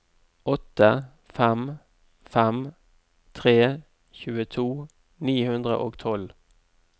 åtte fem fem tre tjueto ni hundre og tolv